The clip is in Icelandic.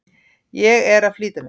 Ég er að flýta mér!